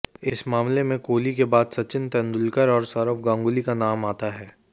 इस मामले में कोहली के बाद सचिन तेंदुलकर और सौरव गांगुली का नाम आता है